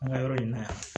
An ka yɔrɔ in na yan